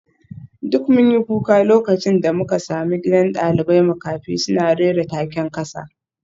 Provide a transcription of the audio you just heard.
Duk mun yi kuka lokacin da muka sami gidan dalibai makafi suna rera taken kasa